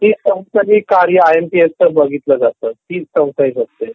तीच संस्था हे कार्य आय एम पी एस च बघितलं जातं तीच संस्था हे बघते